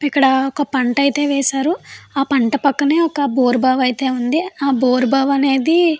ఇక్కడ ఒక పంట అయితే వేశారు ఆ పంట పక్కనే ఒక బోరుబావి అయితే ఉంది ఆ బోరుబావి అనేది --